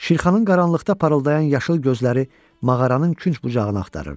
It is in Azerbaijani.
Şirxanın qaranlıqda parıldayan yaşıl gözləri mağaranın künc-bucağını axtarırdı.